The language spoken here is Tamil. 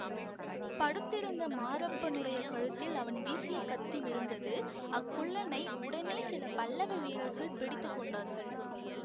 படுத்திருந்த மாரப்பனுடைய கழுத்தில் அவன் வீசிய கத்தி விழுந்தது அக்குள்ளனை உடனே சில பல்லவ வீரர்கள் பிடித்து கொண்டார்கள்